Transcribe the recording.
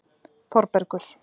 Þorbergur